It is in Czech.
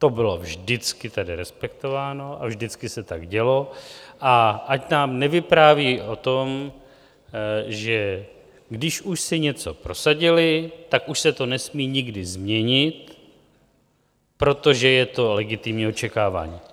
To bylo vždycky tedy respektováno a vždycky se tak dělo, a ať nám nevypráví o tom, že když už si něco prosadili, tak už se to nesmí nikdy změnit, protože je to legitimní očekávání.